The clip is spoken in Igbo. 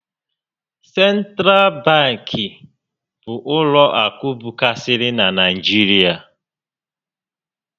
Sentral babkị bụ ụlọ akụ bụkarịsịrị na Naịjirịa